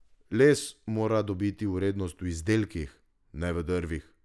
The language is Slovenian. Les mora dobiti vrednost v izdelkih, ne v drvih!